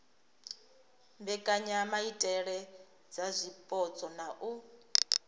mbekanyamaitele dza zwipotso na u